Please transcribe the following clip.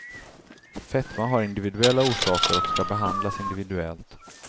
Fetma har individuella orsaker och ska behandlas individuellt.